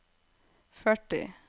førti